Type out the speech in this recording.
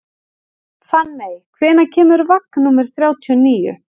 Fanney, hvenær kemur vagn númer þrjátíu og níu?